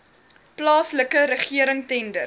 plaaslike regering tender